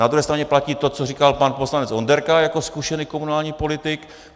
Na druhé straně platí to, co říkal pan poslanec Onderka jako zkušený komunální politik.